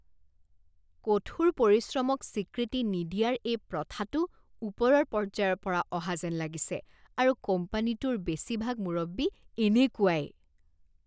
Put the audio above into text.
কঠোৰ পৰিশ্ৰমক স্বীকৃতি নিদিয়াৰ এই প্ৰথাটো ওপৰৰ পৰ্যায়ৰ পৰা অহা যেন লাগিছে আৰু কোম্পানীটোৰ বেছিভাগ মুৰব্বী এনেকুৱাই।